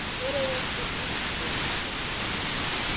En hver er þessi ungi gutti?